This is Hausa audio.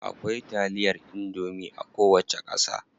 Akwai taliyar indomie a kowace ƙasa.